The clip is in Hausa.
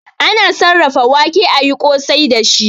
Ana sarrafa wake ayi kosai dashi